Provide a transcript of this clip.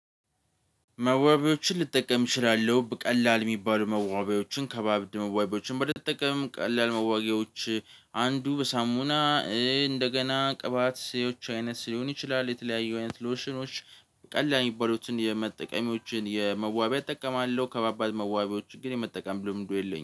መዋቢያዎችን ልጠቀም እችላለሁ ቀላል የሚባሉ መዋቢያዎችን ከባባድ መዋቢያዎችን ባልጠቀምም ቀላል መዋቢያዎች አንዱ በሳሙና እንደገና ቅባት አይነት ሊሆን ይችላል። የተለያዩ አይነት ሎሽኖች ቀላል የሚባሉትን የመጠቀሚዎችን የመዋቢያ እጠቀማለሁ። ከባባድ መዋቢዎች ግን የመጠቀም ልምዱ የለኝም